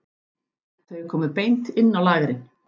Þau komu beint inn á lagerinn.